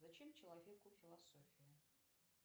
зачем человеку философия